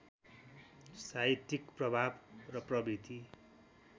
साहित्यिक प्रभाव र प्रवृत्ति